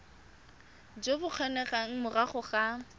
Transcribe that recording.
jo bo kgonegang morago ga